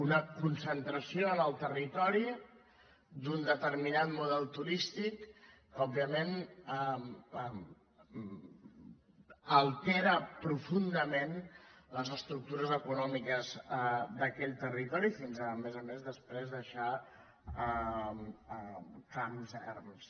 una concentració en el territori d’un deter·minat model turístic que òbviament altera profun·dament les estructures econòmiques d’aquell territo·ri fins a més a més després deixar camps erms